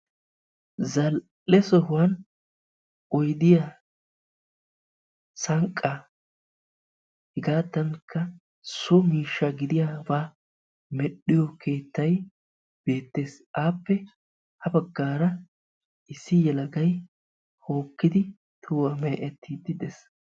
Zal"e sohuwan oyidiyaa, sanqaa, hegaadankka so miishsha gidiyaabaa medhdhiyoo keettay beettes. Appe ha baggaara issi yelagay hokkidi tohuwaa mee"ettiiddi de"es.